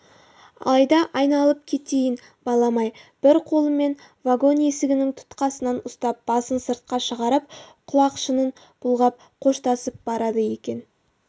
алда айналып кетейін балам-ай бір қолымен вагон есігінің тұтқасынан ұстап басын сыртқа шығарып құлақшынын бұлғап қоштасып барады екен